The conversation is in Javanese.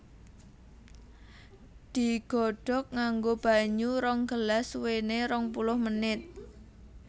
Digodhog nganggo banyu rong gelas suwéné rong puluh menit